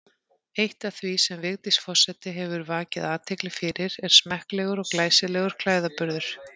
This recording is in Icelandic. Eitt af því sem Vigdís forseti hefur vakið athygli fyrir er smekklegur og glæsilegur klæðaburður.